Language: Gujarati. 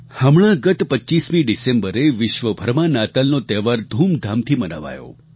હમણાં ગત 25મી ડિસેમ્બરે વિશ્વભરમાં નાતાલનો તહેવાર ધૂમધામથી મનાવાયો